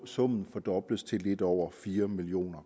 summen fordobles til lidt over fire million